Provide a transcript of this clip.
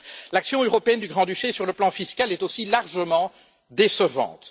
L'action européenne du Grand Duché sur le plan fiscal est aussi largement décevante.